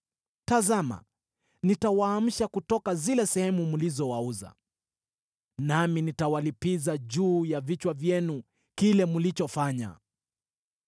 “Tazama nitawaamsha kutoka zile sehemu mlizowauza, nami nitawalipiza juu ya vichwa vyenu kile mlichofanya.